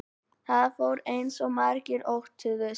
Það fór eins og margir óttuðust